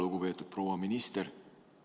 Lugupeetud proua minister!